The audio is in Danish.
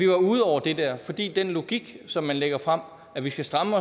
var ude over det der fordi den logik som man lægger frem at vi skal stramme